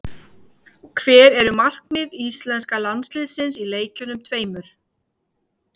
Hver eru markmið íslenska landsliðsins í leikjunum tveimur?